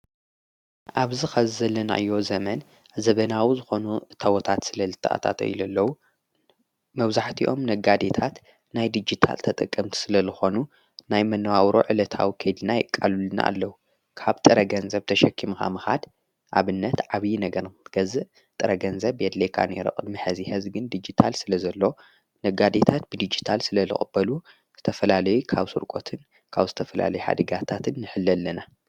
ኣብዚ ኸዚዘለናዮ ዘመን ዘበናዊ ዝኾኑ እታወታት ስለ ልተኣታተዩለዉ መብዛሕቲኦም ነጋዴታት ናይ ዲጅታል ተጠቀምቲ ስለ ልኾኑ ናይ መነዋውሮ ዕለታዊ ከይድና የቃሉልና ኣለዉ ካብ ጥረ ገንዘብ ተሸኪምኻምኻድ ኣብነት ዓብዪ ነገር ንክትገዝእ ጥረገንዘብ የድልየካ ነይሩ። ቕድሚ ሕዚ ሕዝግን ዲጅታል ስለ ዘሎ ነጋዴታት ብዲጅታል ስለ ልቕበሉ ዝተፈላለይ ካብ ስርቆትን ካብ ዝተፈላለዩ ሓደጋታትን ንሕለ ኣለና።